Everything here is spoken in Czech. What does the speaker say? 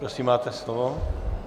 Prosím, máte slovo.